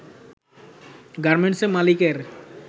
গার্মেন্টসের মালিকের